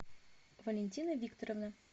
валентина викторовна